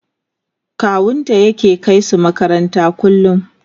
kawunta yake kaisu makaranta kullum